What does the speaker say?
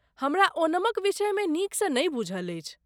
हमरा ओणमक विषय मे नीक सँ नहि बूझल अछि।